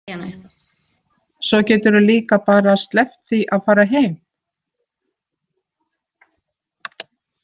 Svo geturðu líka bara sleppt því að fara heim.